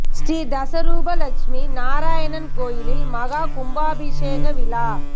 ஸ்ரீ தச ரூப லக்ஷ்மி நாராயணர் கோயில் மகா கும்பாபிஷேக விழா